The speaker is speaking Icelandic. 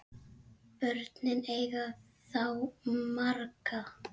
Börnin eiga þá marga